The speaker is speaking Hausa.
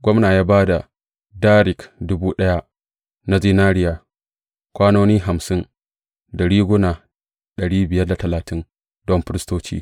Gwamna ya ba da darik dubu daya na zinariya, kwanoni hamsin, da riguna don firistoci.